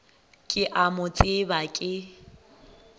ke a mo tseba ke